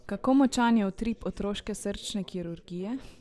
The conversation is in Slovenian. Kako močan je utrip otroške srčne kirurgije?